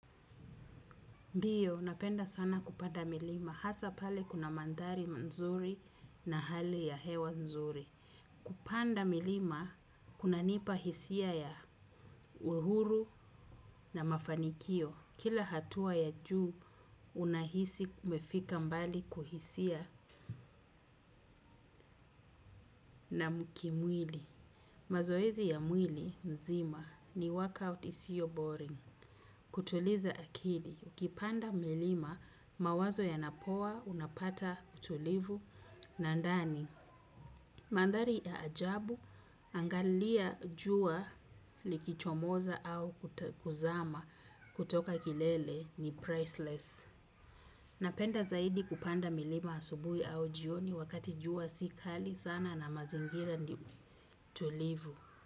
Ndio, napenda sana kupanda milima, hasa pale kuna mandhari nzuri na hali ya hewa nzuri. Kupanda milima, kunanipa hisia ya uhuru na mafanikio. Kila hatua ya juu, unahisi umefika mbali kuhisia na kimwili. Mazoezi ya mwili nzima ni workout isiyo boring. Kutuliza akili, ukipanda milima mawazo yanapoa unapata utulivu na ndani. Mandhari ya ajabu, angalia jua likichomoza au kuzama kutoka kilele ni priceless. Napenda zaidi kupanda milima asubuhi au jioni, wakati jua si kali sana na mazingira ni tulivu.